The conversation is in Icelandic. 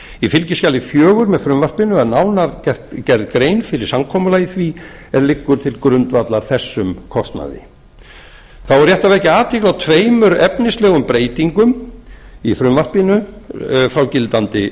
í fylgiskjali fjögur með frumvarpinu er nánar gerð grein fyrir samkomulagi því er liggur til grundvallar þessum kostnaði þá er rétt að vekja athygli á tveimur efnislegum breytingum í frumvarpinu frá gildandi